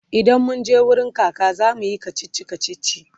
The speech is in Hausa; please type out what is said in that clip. idan munje wurin kaka zamuyi kachichi kachichi